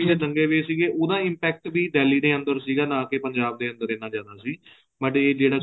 ਦੰਗੇ ਵੀ ਸੀਗੇ ਉਹਦਾ impact ਵੀ Delhi ਦੇ ਅੰਦਰ ਸੀਗਾ ਨਾ ਕੀ ਪੰਜਾਬ ਦੇ ਅੰਦਰ ਐਨਾ ਜਿਆਦਾ ਸੀ but ਏ ਜਿਹੜਾ